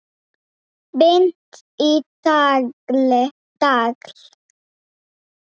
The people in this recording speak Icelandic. Bind í tagl.